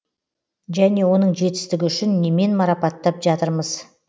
және оның жетістігі үшін немен марапаттап жатырмыз